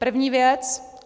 První věc.